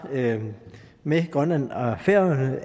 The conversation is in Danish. med grønland og færøerne